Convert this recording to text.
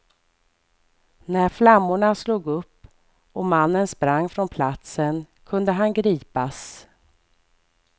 När flammorna slog upp och mannen sprang från platsen kunde han gripas.